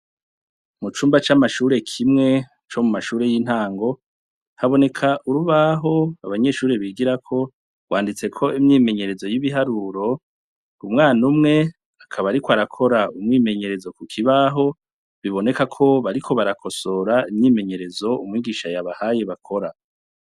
Mu cumba c'amashure kimwe co mu mashuri y'intango, haboneka urubaho abanyeshure bigirako, rwanditseko imyimenyerezo y'ibiharuro, umwana umwe akaba ariko arakora umwimyenyerezo ku kibaho, biboneka ko bariko barakosora imyimenyerezo umwigisha yabahaye bakora.